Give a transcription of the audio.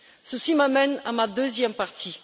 Ceci m'amène à ma deuxième partie.